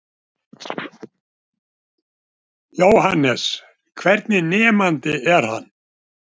Jóhannes: Hvernig nemandi er hann?